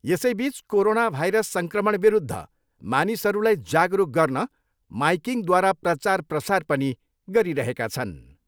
यसैबिच corona virus सङ्क्रमण विरूद्ध मानिसहरूलाई जागरुक गर्न माइकिङद्वारा प्रचार प्रसार पनि गरिरहेका छन्।